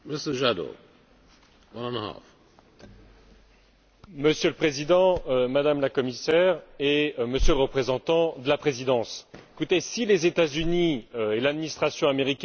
Monsieur le Président, Madame la Commissaire et Monsieur le représentant de la Présidence, si les États Unis et l'administration américaine vous écoutent, Monsieur le Ministre, je pense qu'ils sont tranquilles.